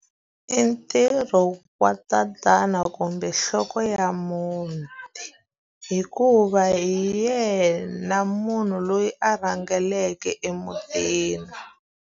I ntirho wa tatana kumbe nhloko ya muti. Hikuva hi yena munhu loyi a rhangeleke emutini.